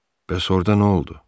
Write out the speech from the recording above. Bəs orda nə oldu?